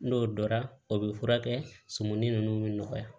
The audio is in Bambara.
N'o dɔra o bɛ furakɛ sumuni ninnu bɛ nɔgɔya